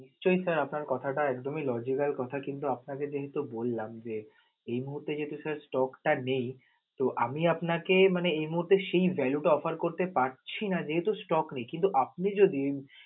নিশ্চয়ই sir আপনার কথাটা একদমই logical কথা কিন্তু আপনাকে যেহেতু বললাম যে এই মুহূর্তে যেহেতু sir stock টা নেই, তো আমি আপনাকে মানে এই মুহূর্তে সেই value টা offer করতে পারছি না যেহেতু stock নেই. কিন্তু আপনি যদি